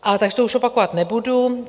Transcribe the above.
A tady to už opakovat nebudu.